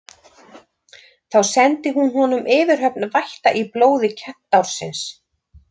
Þá sendi hún honum yfirhöfn vætta í blóði kentársins.